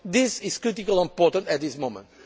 this is critically important at this